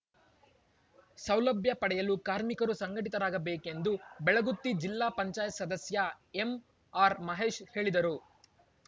ಸೌಲಭ್ಯ ಪಡೆಯಲು ಕಾರ್ಮಿಕರು ಸಂಘಟಿತರಾಗ ಬೇಕೆಂದು ಬೆಳಗುತ್ತಿ ಜಿಲ್ಲಾ ಪಂಚಾಯಿತಿ ಸದಸ್ಯ ಎಂಆರ್‌ಮಹೇಶ್‌ ಹೇಳಿದರು